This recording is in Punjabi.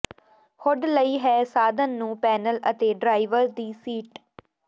ਹੁੱਡ ਲਈ ਹੈ ਸਾਧਨ ਨੂੰ ਪੈਨਲ ਅਤੇ ਡਰਾਈਵਰ ਦੀ ਸੀਟ